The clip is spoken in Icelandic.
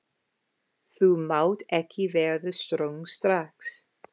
Þú mátt ekki verða svöng strax.